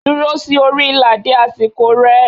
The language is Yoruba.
Duro si ori ila de asiko re